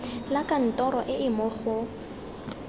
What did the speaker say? la kantoro e mo go